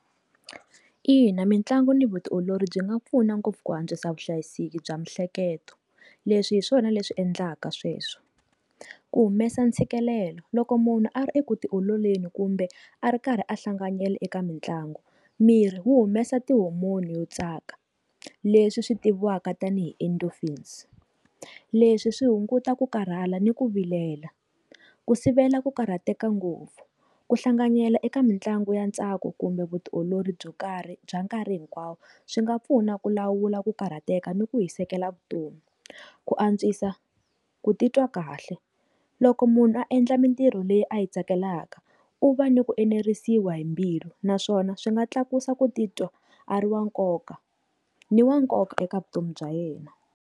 Ina, mitlangu ni vutiolori byi nga pfuna ngopfu ku antswisa vuhlayiseki bya miehleketo leswi hi swona leswi endlaka sweswo ku humesa ntshikelelo loko munhu a ri eku ti ololeni kumbe a ri karhi a hlanganyela eka mitlangu miri wu humesa tihomoni yo tsaka leswi swi tiviwaka tanihi endorphins leswi swi hunguta ku karhala ni ku vilela ku sivela ku karhateka ngopfu ku hlanganyela eka mitlangu ya ntsako kumbe vutiolori byo karhi bya nkarhi hinkwawo swi nga pfuna ku lawula ku karhateka ni ku hi seketela vutomi ku antswisa, ku titwa kahle loko munhu a endla mintirho leyi a yi tsakelaka u va ni ku enerisiwa hi mbilu naswona swi nga tlakusa ku titwa a ri wa nkoka ni wa nkoka eka vutomi bya yena.